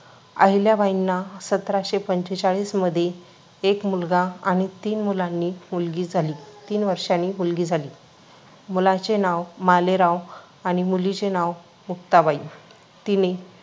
अहिल्याबाईंना सतराशे पंचेचाळीसमध्ये एक मुलगा आणि तीन मुलांनी, मुलगी झाली. तीन वर्षांनी मुलगी झाली. मुलाचे नाव मालेराव आणि मुलीचे नाव मुक्ताबाई.